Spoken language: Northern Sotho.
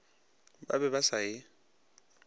ba be ba sa e